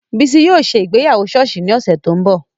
Bisi yóò se ìgbéyàwó ṣọọṣi ni ọsẹ to n bọ.